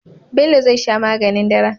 Bello zai sha maganin dare